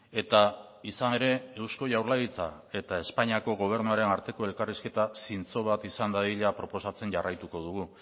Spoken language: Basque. eta izan ere eusko jaurlaritza eta espainiako gobernuaren arteko elkarrizketa zintzo bat izan dadila proposatzen jarraituko dugu